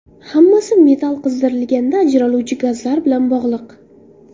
Hammasi metal qizdirilganda ajraluvchi gazlar bilan bog‘liq.